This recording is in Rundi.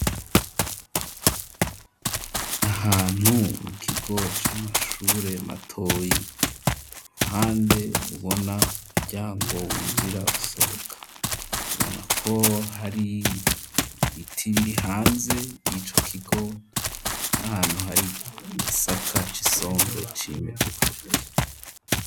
Ahantu mu kigo c'amashure matoyi ku ruhande ubona umuryango winjira gusohoka ubona ko hari biti biri hanze ico kigo n'ahantu hari igisaka c'isombwe ecimejije.